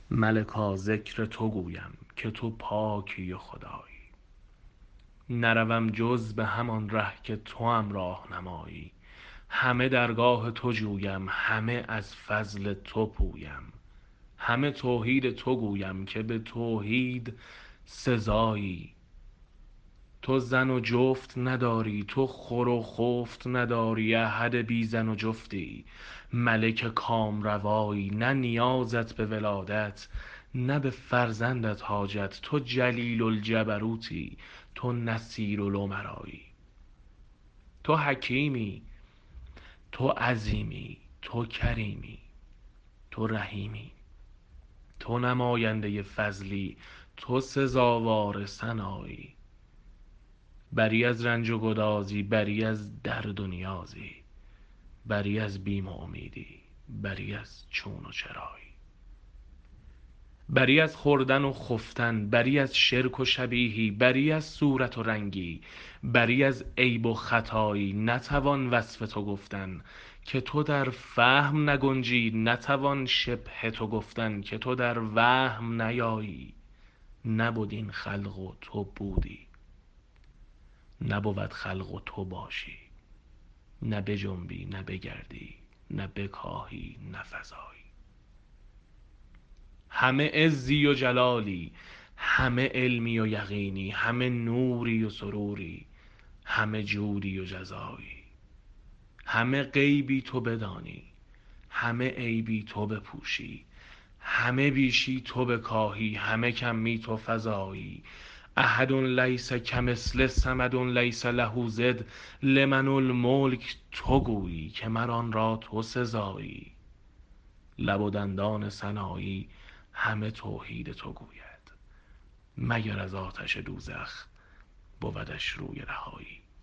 ملکا ذکر تو گویم که تو پاکی و خدایی نروم جز به همان ره که توام راه نمایی همه درگاه تو جویم همه از فضل تو پویم همه توحید تو گویم که به توحید سزایی تو زن و جفت نداری تو خور و خفت نداری احد بی زن و جفتی ملک کامروایی نه نیازت به ولادت نه به فرزندت حاجت تو جلیل الجبروتی تو نصیر الامرایی تو حکیمی تو عظیمی تو کریمی تو رحیمی تو نماینده فضلی تو سزاوار ثنایی بری از رنج و گدازی بری از درد و نیازی بری از بیم و امیدی بری از چون و چرایی بری از خوردن و خفتن بری از شرک و شبیهی بری از صورت و رنگی بری از عیب و خطایی نتوان وصف تو گفتن که تو در فهم نگنجی نتوان شبه تو گفتن که تو در وهم نیایی نبد این خلق و تو بودی نبود خلق و تو باشی نه بجنبی نه بگردی نه بکاهی نه فزایی همه عزی و جلالی همه علمی و یقینی همه نوری و سروری همه جودی و جزایی همه غیبی تو بدانی همه عیبی تو بپوشی همه بیشی تو بکاهی همه کمی تو فزایی احد لیس کمثله صمد لیس له ضد لمن الملک تو گویی که مر آن را تو سزایی لب و دندان سنایی همه توحید تو گوید مگر از آتش دوزخ بودش روی رهایی